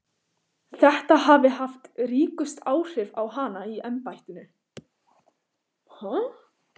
Þetta hafi haft ríkust áhrif á hana í embættinu.